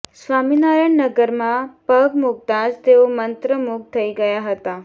સ્વામિનારાયણ નગરમાં પગ મૂકતા જ તેઓ મંત્રમુગ્ધ થઇ ગયા હતા